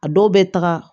A dɔw bɛ taga